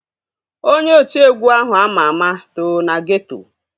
Onye otiegwu ahụ ama ama too na geeto